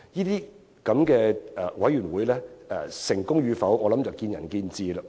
這種委員會成功與否，實在見仁見智。